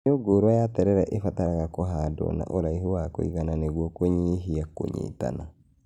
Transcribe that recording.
Mĩũngũrwa ya terere ĩbataraga kũhandwo na ũraihu wa kũigana nĩguo kũnyihia kũnyitana